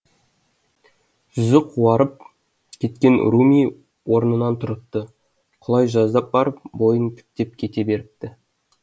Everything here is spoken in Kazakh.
жүзі қуарып кеткен руми орнынан тұрыпты құлай жаздап барып бойын тіктеп кете беріпті